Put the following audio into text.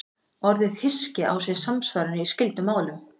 Orðið hyski á sér samsvaranir í skyldum málum.